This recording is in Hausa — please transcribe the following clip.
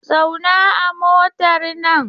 Zauna a motar nan!